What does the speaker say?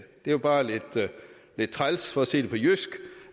det er jo bare lidt træls for at sige det på jysk